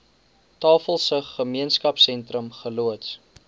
tafelsig gemeenskapsentrum geloods